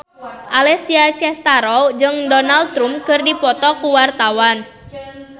Alessia Cestaro jeung Donald Trump keur dipoto ku wartawan